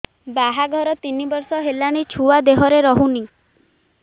ବାହାଘର ତିନି ବର୍ଷ ହେଲାଣି ଛୁଆ ଦେହରେ ରହୁନି